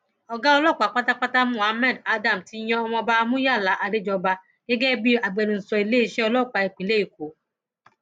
ọgá ọlọpàá pátápátá muhammed adam ti yan ọmọọba muyala adéjọba gẹgẹ bíi agbẹnusọ iléeṣẹ ọlọpàá ìpínlẹ èkó